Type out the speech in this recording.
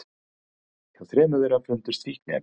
Hjá þremur þeirra fundust fíkniefni